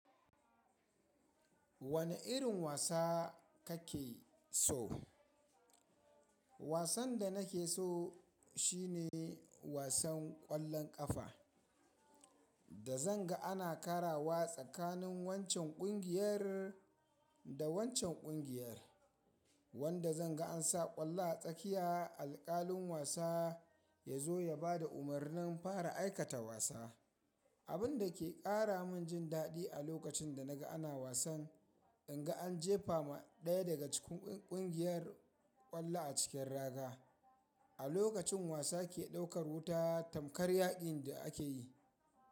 Wane irin wasa kake so? Wasan da nake so shine wasan ƙwallon ƙafa. Da zan ga ana karawa tsakanin wancan kungiyar da wancan kungiyar, wanda zan ga an sa ƙwallo a tsakiya alƙalin wasa ya zo ya bada umarnin fara aikata wasa. Abun da ke ƙara min jin daɗi a lokacin da naga ana wasan, in ga an jefa ma ɗaya daga cikin ƙungiyar ƙwallo a cikin raga. A lokacin wasa ke ɗaukar wuta tamkar yaƙin da ake yi.